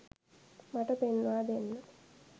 මට පෙන්වා දෙන්න.